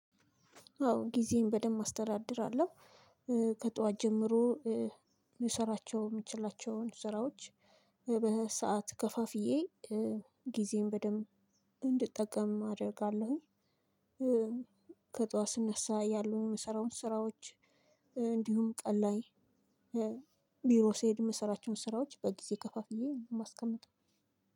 አዎ ጊዜን በደንብ አስተዳድራለሁ። ከጧት ጀምሮ ምሰራቸው የምችላቸውን ስራዎች በሰአት ከፋፍዬ ጊዜን በደንብ እንድጠቀም አደርጋለሁኝ። ከጠዋት ስነሳ ያሉ የምሰራውን ስራዎች እንዲሁም ቀን ላይ ቢሮ ስሄድ የምሰራቸውን ስራዎች በጊዜ ከፋፍዬ የማስቀምጠው።